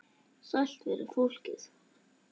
Sælt veri fólkið!